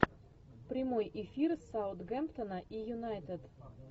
прямой эфир саутгемптона и юнайтед